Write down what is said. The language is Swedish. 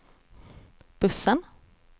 bussen